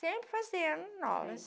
Sempre fazendo novas.